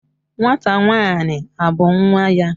Nwata nwanyi a bu nwa ya?